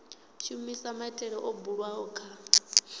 shumisa maitele o bulwaho kha